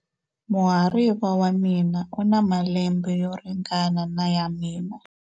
Muhariva wa mina u na malembe yo ringana na ya mina.